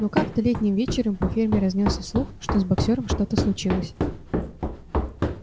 но как-то летним вечером по ферме разнёсся слух что с боксёром что-то случилось